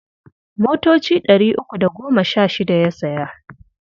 Motoci ɗari uku da goma sha shida ya saya.